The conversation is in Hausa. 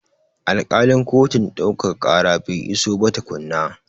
Alkalin kotun ɗaukaka ƙara bai iso ba tukunna.